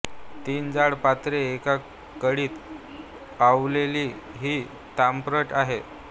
तीन जाड पत्रे एका कडीत ओवलेली ही ताम्रपट आहेत